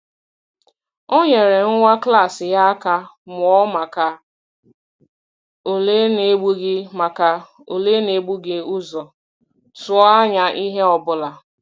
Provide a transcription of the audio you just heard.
Ọ nyere nwa klas ya aka mụọ maka ule n’ebughị maka ule n’ebughị ụzọ tụọ anya ihe ọ bụla.